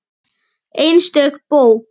Einstök bók.